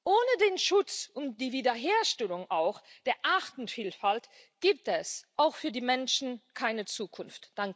Ohne den Schutz und die Wiederherstellung auch der Artenvielfalt gibt es auch für die Menschen keine Zukunft.